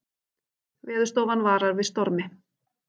Veðurstofan varar við stormi